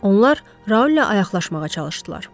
Onlar Raul ilə ayaqlaşmağa çalışdılar.